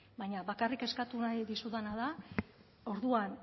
baina bakarrik eskatu nahi dizudana da orduan